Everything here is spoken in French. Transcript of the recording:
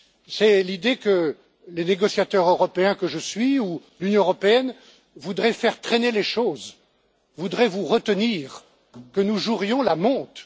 C'est l'idée que le négociateur européen que je suis ou l'Union européenne voudrait faire traîner les choses ou voudrait vous retenir, qu'elle jouerait la montre.